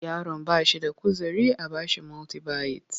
Yaron ba shi da kuzari a ba shi multibayit